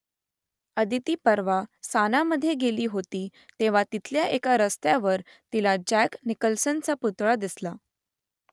अदिती परवा सानामधे गेली होती तेव्हा तिथल्या एका रस्त्यावर तिला जॅक निकल्सनचा पुतळा दिसला